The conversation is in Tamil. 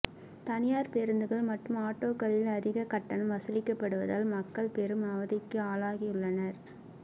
தனியார் பேருந்துகள் மட்டும் ஆட்டோக்களில் அதிக கட்டணம் வசூலிக்கப்படுவதால் மக்கள் பெரும் அவதிக்கு ஆளாகியுள்ளனர்